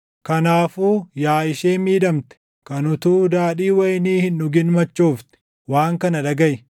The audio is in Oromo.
Kanaafuu yaa ishee miidhamte, kan utuu daadhii wayinii hin dhugin machoofte, // waan kana dhagaʼi.